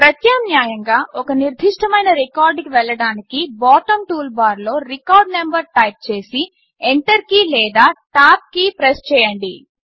ప్రత్యామ్నాయంగా ఒక నిర్దిష్టమైన రికార్డ్కి వెళ్ళడానికి బాటం టూల్బార్లో రికార్డ్ నంబర్ టైప్ చేసి ఎంటర్ కీ లేదా టాబ్ కీ ప్రెస్ చేయండి